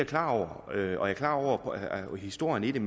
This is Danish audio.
klar over og jeg er klar over historien i det